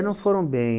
Não foram bem.